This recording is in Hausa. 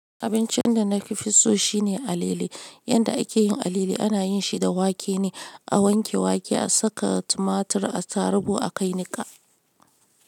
Abincin da na fi so shine alale. Yanda a ke yin alale, ana yin shi da wake ne. A wanke wake, a saka tumatur, a tarugu, a kai niƙa.